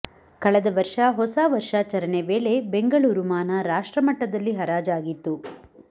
ಕಳೆದ ವರ್ಷ ಹೊಸ ವರ್ಷಾಚರಣೆ ವೇಳೆ ಬೆಂಗಳೂರು ಮಾನ ರಾಷ್ಟ್ರಮಟ್ಟದಲ್ಲಿ ಹರಾಜಾಗಿತ್ತು